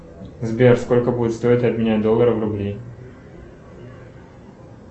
сбер сколько будет стоить обменять доллары на рубли